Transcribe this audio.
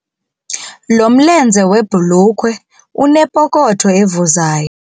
Lo mlenze webhulukhwe unepokotho evuzayo.